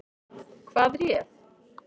Hvað réð?